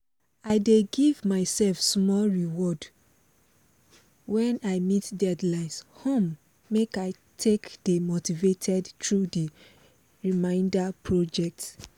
i dey give myself small reward when i meet deadlines um make i take dey motivated through the remainder project